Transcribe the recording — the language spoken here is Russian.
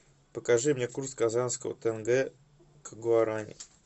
покажи мне курс казанского тенге к гуарани